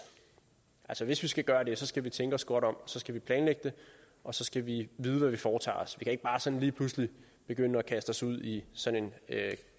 altså hvis vi skal gøre det skal vi tænke os godt om så skal vi planlægge det og så skal vi vide hvad vi foretager os ikke bare sådan lige pludselig begynde at kaste os ud i sådan en